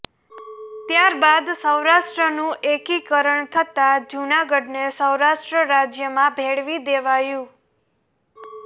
ત્યારબાદ સૌરાષ્ટ્રનું એકીકરણ થતાં જૂનાગઢને સૌરાષ્ટ્ર રાજ્યમાં ભેળવી દેવાયું